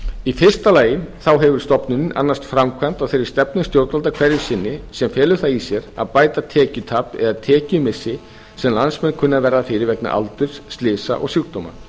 í fyrsta lagi hefur stofnunin annast framkvæmd á þeirri stefnu stjórnvalda hverju sinni sem felur það í sér að bæta tekjutap eða tekjumissi sem landsmenn kunna að verða fyrir vegna aldurs slysa og sjúkdóma